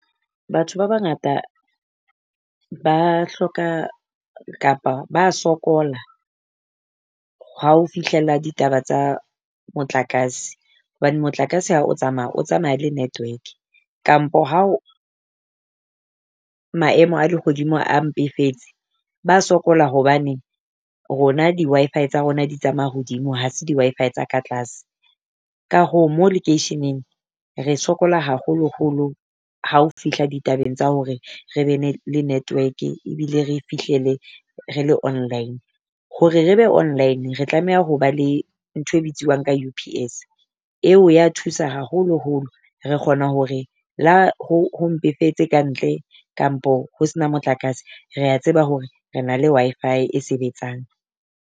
Batho ba bangata ba hloka kapa ba sokola ha ho fihlella ditaba tsa motlakase. Hobane motlakase ha o tsamaya o tsamaya le network kampo ha o maemo a lehodimo a mpefetse ba sokola hobane rona di Wi-Fi tsa rona di tsamaya hodimo ha se di Wi-Fi tsa ka tlase. Ka hoo mo lekeisheneng re sokola haholo-holo ha o fihla ditabeng tsa hore re be le network-e ebile re fihlele re le online, hore re be online re tlameha ho ba le ntho e bitsiwang ka U_P_S. Eo ya thusa haholo-holo. Re kgona hore la ho ho mpefetse ka ntle kapo ho se na motlakase. Rea tseba hore re na le Wi-Fi e sebetsang.